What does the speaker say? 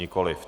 Nikoliv.